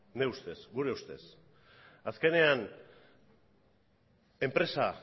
nire ustez gure ustez azkenean enpresa